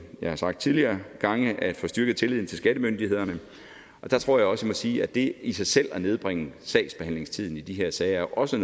jeg har sagt tidligere gange at få styrket tilliden til skattemyndighederne der tror jeg også jeg må sige at det i sig selv at nedbringe sagsbehandlingstiden i de her sager også